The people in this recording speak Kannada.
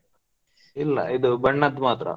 ಇಲ್ಲ ಇದು ಬಣ್ಣದ್ ಮಾತ್ರ.